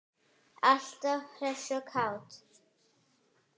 Alltaf hress og kát.